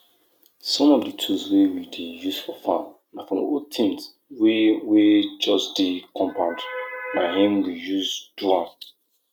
dey check how earthworm take waka for inside soil wey you wan use plant crop e fit show say the soil dey healthy well